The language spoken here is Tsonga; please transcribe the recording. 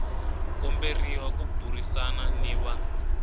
komberiwa ku burisana ni va